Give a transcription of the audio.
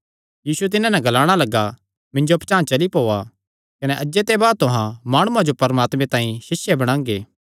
यीशु तिन्हां नैं ग्लाणा लग्गा मिन्जो पचांह़ चली ओआ कने अज्जे ते बाद तुहां माणुआं जो परमात्मे तांई सिष्य बणांगे